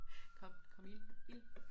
Kom kom ild ild